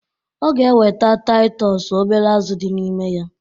Ọ ga eweta Taịtọs obere azụ dị n'ime ya